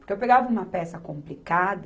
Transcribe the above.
Porque eu pegava uma peça complicada,